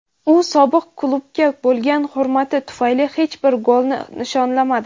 u sobiq klubiga bo‘lgan hurmati tufayli hech bir golni nishonlamadi.